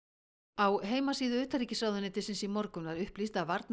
á heimasíðu utanríkisráðuneytisins í morgun var upplýst að